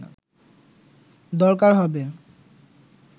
দরকার হবে